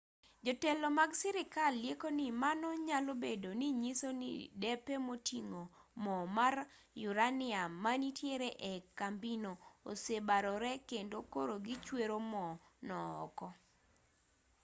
jotelo mag sirkal lieko ni mano nyalobedo ni nyiso ni depe moting'o mo mar uranium manitiere ee kambino osebarore kendo koro gichwero mo no oko